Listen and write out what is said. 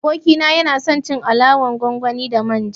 Abokina yanason cin alalan gwangwani da manja